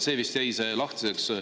See vist jäi lahtiseks.